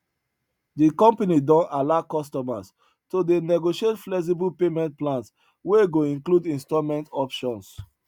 de company don allow customers to dey negotiate flexible payment plans wey go include installment options